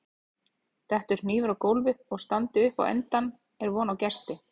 detti hnífur á gólf og standi upp á endann er von á gesti